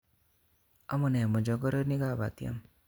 Amune mochokoronik kap batiem